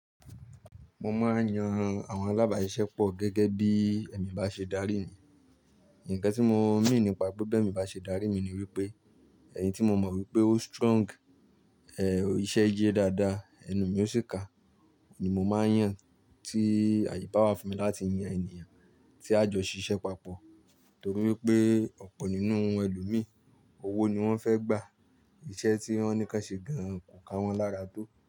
Mo máa ń yan àwọn alábàáṣiṣẹ́ pọ̀ gẹ́gẹ́ bí ẹ̀mí bá ṣe darí mi. Ǹkan tí mo mean nípa pé bi emi bá ṣe darí mi ni wípé, ẹ̀yin tí mo mọ̀ wípé ó strong, ẹ, ìṣẹ́ ye dáadáa, ẹnu mi ó sì ká, oun ni mo máa ń yàn. Tí àaye bà wá fún mi láti yan ènìyàn tí a jọ ṣiṣẹ́ papọ̀. Torí wípé ọ̀pọ̀ nínú àwọn ẹlòmíì, owó ni wọ́n fẹ́ gbà. Iṣẹ́ tí wọ́n ní kí wọ́n ṣe gan-an kò ká wọn lára tó.